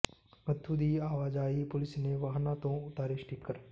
ਮਖ਼ੂ ਦੀ ਆਵਾਜਾਈ ਪੁਲਿਸ ਨੇ ਵਾਹਨਾਂ ਤੋਂ ਉਤਾਰੇ ਸਟਿੱਕਰ